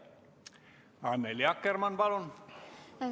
Annely Akkermann, palun!